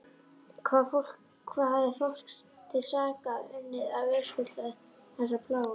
Hvað hafði fólk til sakar unnið að verðskulda þessa plágu?